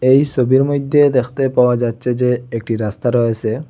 এই সোবির মইদ্যে দেখতে পাওয়া যাচ্ছে যে একটি রাস্তা রয়েসে।